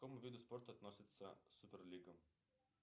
к какому виду спорта относится супер лига